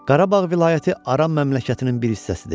Qarabağ vilayəti Aran məmləkətinin bir hissəsidir.